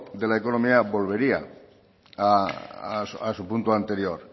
de la economía volvería a su punto anterior